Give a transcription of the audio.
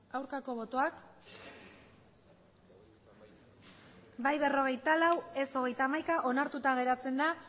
aurkako botoak bai berrogeita lau ez hogeita hamaika onartuta geratzen da